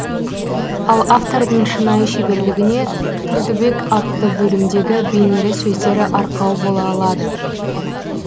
ал автордың шынайы шеберлігіне тұрдыбек атты бөлімдегі бейнелі сөздері арқау бола алады